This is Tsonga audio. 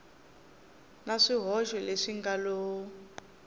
na swihoxo leswi nga lo